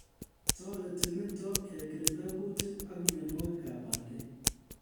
Toreti nito kekirinda kutiik ak mienwokikab bandek